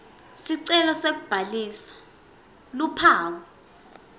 sicelo sekubhalisa luphawu